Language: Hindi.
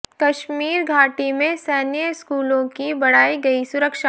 कश्मीर घाटी में सैन्य स्कूलों की बढ़ाई गई सुरक्षा